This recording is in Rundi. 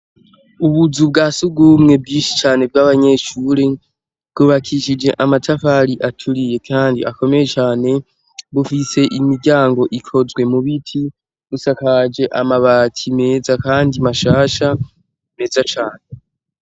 Ubuzu bwa sugumwe bwishi cane bw'abanyeshure bwubakishije amatafari aturiye kandi akomeye cyane bufise imiryango ikozwe mu biti busakaje amabati meza kandi mashasha meza cane.